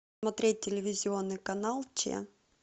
смотреть телевизионный канал че